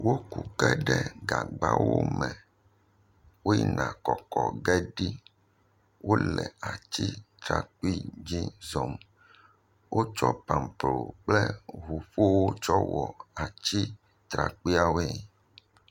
Woku ke ɖe gagbawo me, woyina kɔkɔ ge ɖi. Wole atsitrakpi dzi zɔm. Wotso pamplo kple ŋuƒowo tsɔ wɔ atsitrakpuiawo woe.